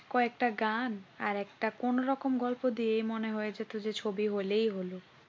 কয়েকটা গান আর একটা কোনরকম গল্প দিয়ে মনে হয়েছে যে ছবি হলেই হল।